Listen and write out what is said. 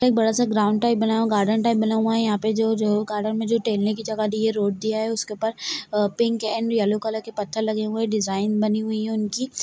एक बड़ा सा एक ग्राउंड टाइप बना हुआ है गार्डन टाइप हुआ है यहा पे जो जो मे जो टहलने की जगह दी है रोड दिया है उसके उपर पिंक एंड येल्लो पत्थर लगे हुए है डिज़ाइन बनी हुई है उनकी--